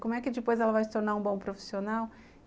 Como é que depois ela vai se tornar um bom profissional?